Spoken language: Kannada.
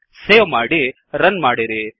ಸೇವ್ ಮಾಡಿ ರನ್ ಮಾಡಿರಿ